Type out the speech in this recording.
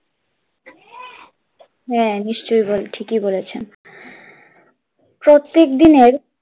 হ্যাঁ নিশ্চয়ই ঠিকই বলেছেন, প্রত্যেক দিনের,